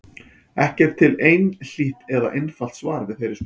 Ekki er til einhlítt eða einfalt svar við þeirri spurningu.